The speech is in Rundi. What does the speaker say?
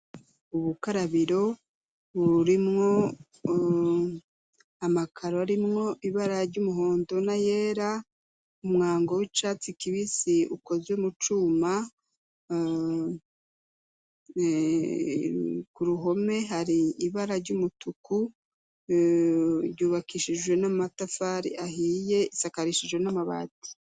Ubukarabiro bururimwo amakaro arimwo ibara ry'umuhondo na yera, umwango w'icatsi kibisi ukozwe mu cuma, ku ruhome har'ibara ry'umutuku ryubakishijwe n'amatafari ahiye isakarishijwe n'amabati.